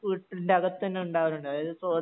വീട്ടിൻറെ അകത്ത് തന്നെ ഉണ്ടാകലുണ്ട് അതായത് സഹോദരി